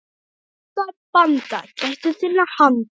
Vanda, banda, gættu þinna handa.